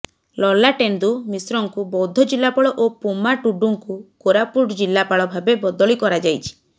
ଲଲାଟେନ୍ଦୁ ମିଶ୍ରଙ୍କୁ ବୌଦ୍ଧ ଜିଲାପାଳ ଓ ପୋମା ଟୁଡ଼ୁଙ୍କୁ କୋରାପୁଟ ଜିଲାପାଳ ଭାବେ ବଦଳି କରାଯାଇଛି